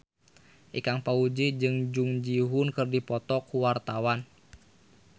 Ikang Fawzi jeung Jung Ji Hoon keur dipoto ku wartawan